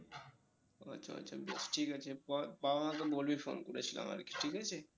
আচ্ছা আচ্ছা বেশ ঠিক আছে বাবা মা কে বলবি phone করেছিলাম আরকি ঠিক আছে?